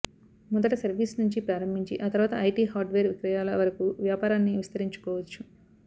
మొదట సర్వీస్ నుంచి ప్రారంభించి ఆ తర్వాత ఐటీ హార్డ్వేర్ విక్రయాల వరకు వ్యాపారాన్ని విస్తరించుకోవచ్చు